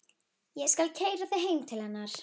Ég skal keyra þig heim til hennar.